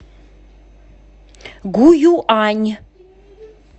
гуюань